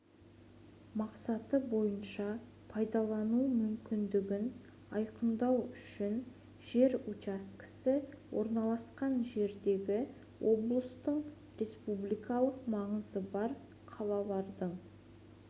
мақсаты бойынша пайдалану мүмкіндігін айқындау үшін жер учаскесі орналасқан жердегі облыстардың республикалық маңызы бар қалалардың